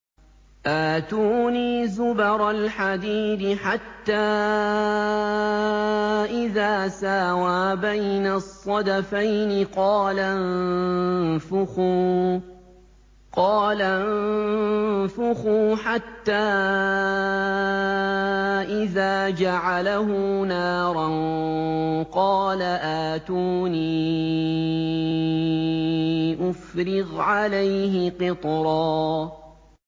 آتُونِي زُبَرَ الْحَدِيدِ ۖ حَتَّىٰ إِذَا سَاوَىٰ بَيْنَ الصَّدَفَيْنِ قَالَ انفُخُوا ۖ حَتَّىٰ إِذَا جَعَلَهُ نَارًا قَالَ آتُونِي أُفْرِغْ عَلَيْهِ قِطْرًا